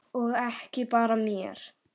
Og ekki bara mér.